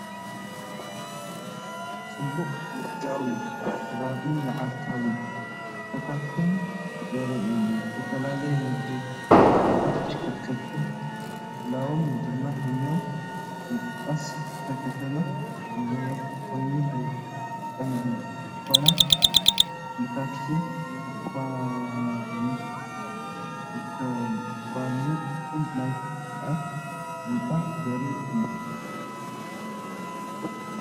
ጽዑቕ ንግዳዊ ከባቢን መዓልታዊ ንጥፈታትን ዘርኢ እዩ። ዝተፈላለዩ ንግዳዊ ምልክታትን ተሽከርከርትን ምህላዎም ድማ ህያው ምንቅስቓስ እታ ከተማ ዘመልክት ኮይኑ ብቐንዱ ድኳናት ክፍልታት መካይን ዝርከባሉ ክፋል ናይቲ ህንጻ ዘርኢ እውን እዩ።